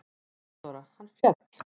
THEODÓRA: Hann féll!